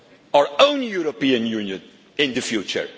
Europe, our own European Union, in the